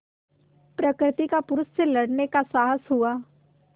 प्रकृति का पुरुष से लड़ने का साहस हुआ